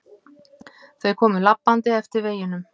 Þau komu labbandi eftir veginum.